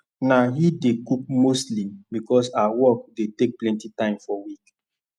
na he dey cook mostly because her work dey take plenty time for week